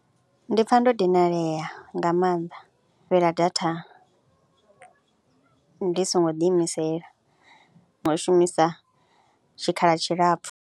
Ndi pfha ndo dinalea nga maanḓa, u fhela data ndi songo ḓiimisela u shumisa tshikhala tshilapfhu.